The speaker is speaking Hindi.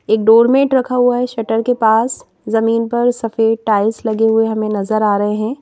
एक डोर-मेट रखा हुआ है शटर के पास जमीन पर सफेद टाइल्स लगे हुए हमें नजर आ रहे हैं.